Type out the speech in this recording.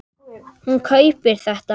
Hún kaupir þetta.